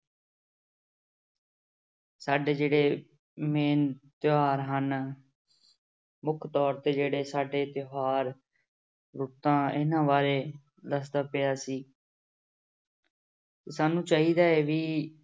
ਸਾਡੇ ਜਿਹੜੇ main ਤਿਉਹਾਰ ਹਨ ਮੁੱਖ ਤੌਰ ਤੇ ਜਿਹੜੇ ਸਾਡੇ ਤਿਉਹਾਰ ਰੁੱਤਾਂ ਇਹਨਾਂ ਬਾਰੇ ਦੱਸਦਾ ਪਿਆ ਸੀ ਸਾਨੂੰ ਚਾਹੀਦਾ ਹੈ ਵੀ